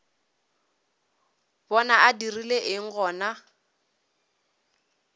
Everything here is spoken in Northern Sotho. bona a dirile eng gona